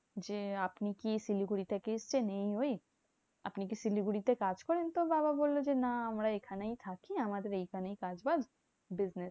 যে আপনি কি শিলিগুড়ি থেকে এসেছেন? এই ওই। আপনি কি শিলিগুড়ি তে কাজ করেন? তো বাবা বললো যে, না আমরা এখানেই থাকি, আমাদের এখানেই কাজ বাজ। business